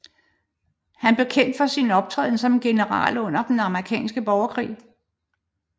Han blev kendt for sin optræden som general under den amerikanske borgerkrig